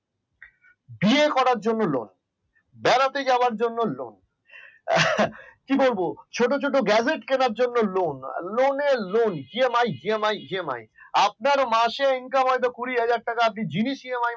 বিয়ে করার জন্য lone বেড়াতে যাওয়ার জন্য lone কি বলবো ছোট ছোট gadgets কেনার জন্য lone loneEMIEMIEMI আপনার মাসে ইনকাম হয়তো কুড়ি হাজার টাকা আপনি জিনিস EMI